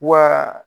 Wa